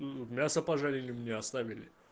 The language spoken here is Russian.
мясо пожарим мне оставили